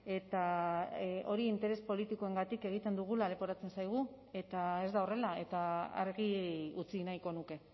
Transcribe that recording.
eta hori interes politikoengatik egiten dugula leporatzen zaigu eta ez da horrela eta argi utzi nahiko nuke